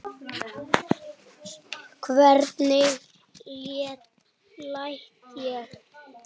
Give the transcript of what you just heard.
Hvernig læt ég.